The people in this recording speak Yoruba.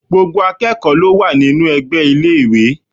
Gbogbo akẹ́kọ̀ọ́ ló wà nínú ẹgbẹ́ iléèwé